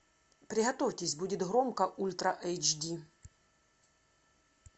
приготовьтесь будет громко ультра эйч ди